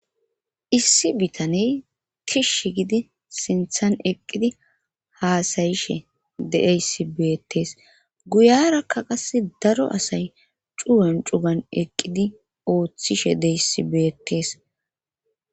issi bitaney kishsh gidi sinthan eqqidi haasayishe deeysi beetes guyarakka qasse daro asay cuwen cugan eqqidi ooththishe deyssi beetees